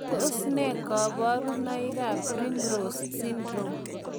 Tos nee koborunoikab Primrose syndrome?